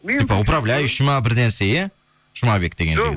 типа управляющий ма бір нәрсе иә жұмабек деген жігіт